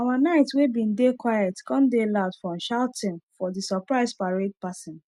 our night wey bin dey quiet come dey loud from shouting for the surprise parade passing